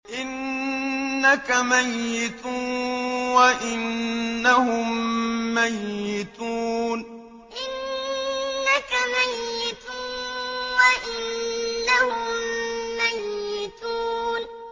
إِنَّكَ مَيِّتٌ وَإِنَّهُم مَّيِّتُونَ إِنَّكَ مَيِّتٌ وَإِنَّهُم مَّيِّتُونَ